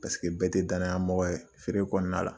Paseke bɛɛ tɛ danaya mɔgɔ ye feere kɔnɔna la.